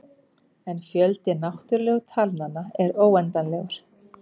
En fjöldi náttúrulegu talnanna er óendanlegur.